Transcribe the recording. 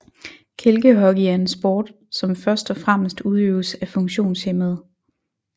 Kælkehockey er en sport som først og fremmest udøves af funktionshæmmede